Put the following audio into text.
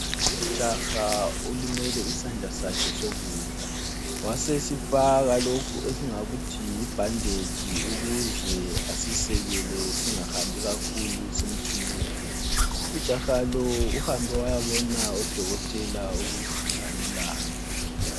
Ujaha olimele isandla sakhe sokudla wasesifaka lokhu esingakuthi yibanditshi ukuze asisekele singahambi kakhulu simthunuka. Ujaha lo uhambe wayabona udokotela ukuze alulame.